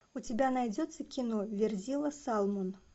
у тебя найдется кино верзила салмон